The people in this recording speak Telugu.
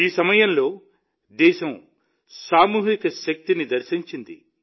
ఈ సమయంలో దేశం సామూహిక శక్తిని దర్శించింది